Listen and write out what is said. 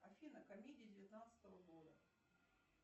афина комедии девятнадцатого года